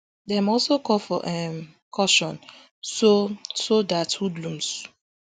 dem also call for um caution so so dat hoodlums